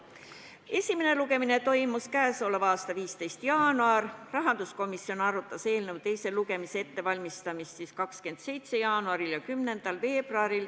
Esimene lugemine toimus k.a 15. jaanuaril, rahanduskomisjon arutas eelnõu teist lugemist 27. jaanuaril ja 10. veebruaril.